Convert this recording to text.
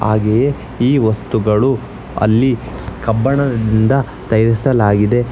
ಹಾಗೆಯೇ ಈ ವಸ್ತುಗಳು ಅಲ್ಲಿ ಕಬ್ಬಿಣದಿಂದ ತಯಾರಿಸಲಾಗಿದೆ.